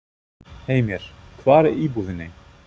Heimir: Hvar í íbúðinni?